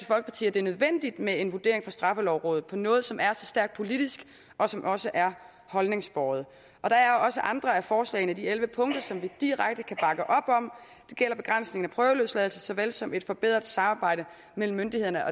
det er nødvendigt med en vurdering fra straffelovrådet af noget som er så stærkt politisk og som også er holdningsbåret der er også andre af forslagene i de elleve punkter som vi direkte kan bakke op om det gælder begrænsningen af prøveløsladelse så vel som et forbedret samarbejde mellem myndighederne